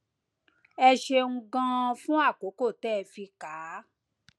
ẹ ṣeun ganan fún àkókò tẹ ẹ fi kà á